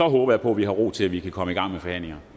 håber jeg på vi har ro til at vi kan komme i gang med forhandlingen